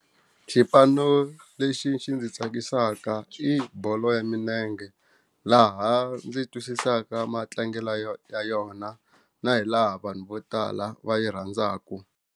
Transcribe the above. Xipano lexi xi ndzi tsakisaka i bolo ya milenge laha ndzi twisisaka matlangelo ya yona na hi laha vanhu vo tala va yi rhandzaka.